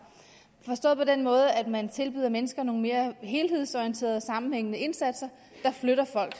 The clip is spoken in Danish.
forstået på den måde at man tilbyder mennesker nogle mere helhedsorienterede sammenhængende indsatser der flytter folk